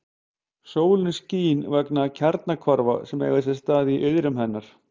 Sólin skín vegna kjarnahvarfa sem eiga sér stað í iðrum hennar.